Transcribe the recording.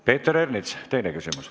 Peeter Ernits, teine küsimus.